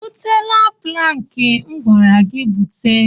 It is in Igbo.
Ị butela plankị m gwara gị bute?